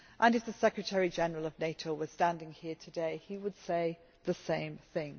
If the Secretary General of NATO was standing here today, he would say the same thing.